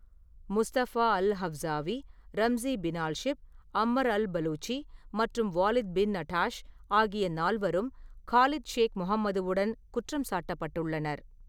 Mustafa al Hawsawi, Ramzi Binalshibh, Ammar al Baluchi மற்றும் Walid bin Attash ஆகிய நால்வரும் காலித் ஷேக் முகமதுவுடன் குற்றம் சாட்டப்பட்டுள்ளனர்.